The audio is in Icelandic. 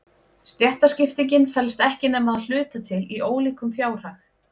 Stéttaskiptingin felst ekki nema að hluta til í ólíkum fjárhag.